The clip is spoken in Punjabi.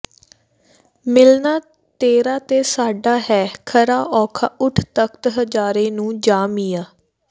ਮਿਲਣਾਂ ਤੇਰਾ ਤੇ ਸਾਡਾ ਹੈ ਖਰਾ ਔਖਾ ਉਠ ਤਖ਼ਤ ਹਜ਼ਾਰੇ ਨੂੰ ਜਾ ਮੀਆਂ